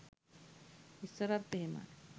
ඉස්සරත් එහෙමයි